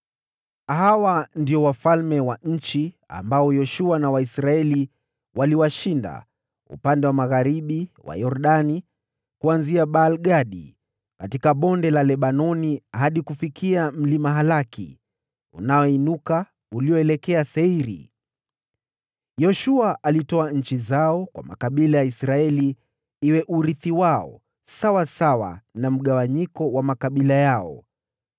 Hawa ndio wafalme wa nchi ambao Yoshua na Waisraeli waliwashinda upande wa magharibi mwa Yordani, kuanzia Baal-Gadi katika Bonde la Lebanoni hadi kufikia Mlima Halaki, unaoinuka ukielekea Seiri. (Yoshua alitoa nchi zao kwa makabila ya Israeli iwe urithi wao sawasawa na mgawanyiko wa makabila yao: